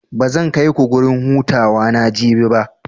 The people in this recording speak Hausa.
Bazan kaiku gurin hutawa na Jabi ba.